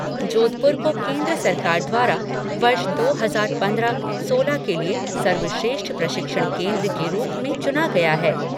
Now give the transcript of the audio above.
जोधपुर को केंद्र सरकार द्वारा वर्ष दो हजार पंद्रह सोलह के लिए सर्वश्रेष्ठ प्रशिक्षण केंद्र के रूप में चुना गया है।